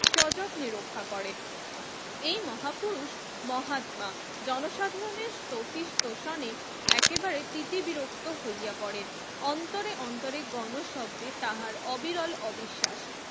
সযত্নে রক্ষা করেন। এই মহাপুরুষ মহাত্মা জনসাধারনের স্তুতিস তোওসানে একেবারেই তিতি বিরক্ত হইয়া পরেন অন্তরে অন্তরে গণ শব্দে তাহার অবিরল অবিশ্বাস